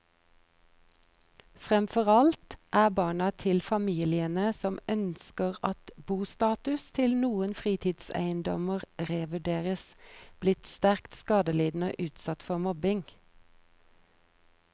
Fremfor alt er barna til familiene som ønsker at bostatus til noen fritidseiendommer revurderes, blitt sterkt skadelidende og utsatt for mobbing.